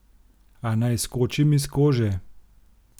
A naj skočim iz kože?